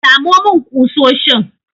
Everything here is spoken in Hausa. Samo min ƙusoshin!